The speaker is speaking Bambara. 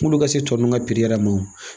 Munnu ka se tɔ ninnu ka yɛrɛ ma o.